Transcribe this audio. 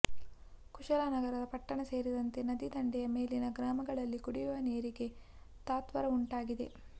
ಕುಶಾಲನಗರ ಪಟ್ಟಣ ಸೇರಿದಂತೆ ನದಿ ದಂಡೆಯ ಮೇಲಿನ ಗ್ರಾಮಗಳಲ್ಲಿ ಕುಡಿಯುವ ನೀರಿಗೆ ತತ್ವಾರ ಉಂಟಾಗಿದೆ